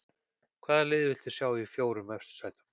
Hvaða lið viltu sjá í fjórum efstu sætunum?